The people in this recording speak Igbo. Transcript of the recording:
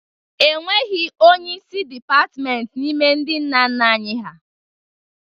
E nweghị onyeisi dịpatimentị n'ime ndị nna nna anyị ha.